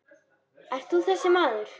Ert þú þessi maður?